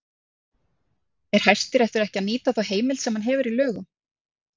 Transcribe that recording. Er Hæstiréttur ekki að nýta þá heimild sem hann hefur í lögum?